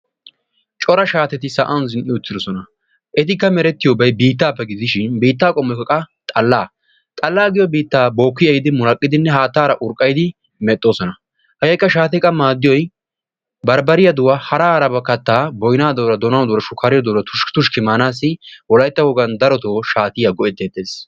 cora shaatetti sa'an zin''idosona. pabirkka yaagiyooga oosetida birata diste issisan dooreti utiis. he birta disttkekka aybbaw maadi giiko ustta duuqanayyo woykko usttaa kattanayo keehippe maaddees. he ustta a kattidooga appe ekkidi budena bollan tiggidi asay maanaw go''ees.